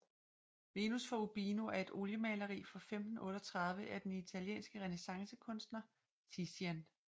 Venus fra Urbino er et oliemaleri fra 1538 af den italienske renæssancekunstner Tizian